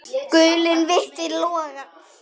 Guli vitinn logar.